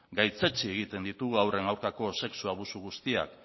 gaitzetsi egiten ditugu haurren aurkako sexu abusu guztiak